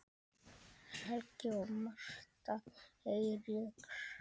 Helgi og Martha Eiríks.